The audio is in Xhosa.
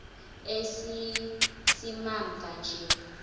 esi simamva nje